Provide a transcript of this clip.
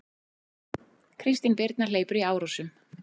Kristin Birna hleypur í Árósum